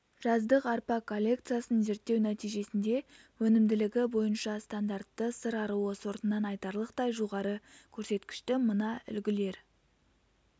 жаздық арпа коллекциясын зерттеу нәтижесінде өнімділігі бойынша стандартты сыр аруы сортынан айтарлықтай жоғары көрсеткішті мына үлгілер